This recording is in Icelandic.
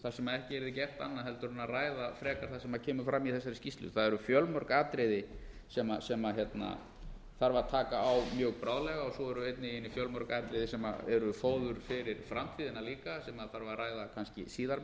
þar sem ekki yrði gert annað heldur en að ræða frekar það sem kemur fram í þessari skýrslu það eru fjölmörg atriði sem þarf að taka á mjög bráðlega svo eru einnig í henni fjölmörg atriði sem eru fóður fyrir framtíðina líka sem þarf að ræða kannski